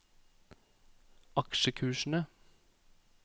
aksjekursene